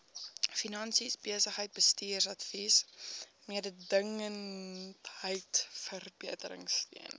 finansies besigheidsbestuursadvies mededingendheidsverbeteringsteun